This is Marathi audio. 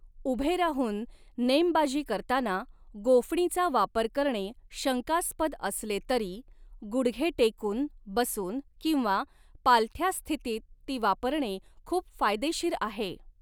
उभे राहून नेमबाजी करताना गोफणीचा वापर करणे शंकास्पद असले तरी, गुडघे टेकून, बसून किंवा पालथ्या स्थितीत ती वापरणे खूप फायदेशीर आहे.